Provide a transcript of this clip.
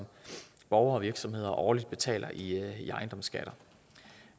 borgere og virksomheder årligt betaler i ejendomsskatter